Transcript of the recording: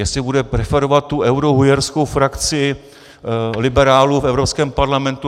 Jestli bude preferovat tu eurohujerskou frakci liberálů v Evropském parlamentu.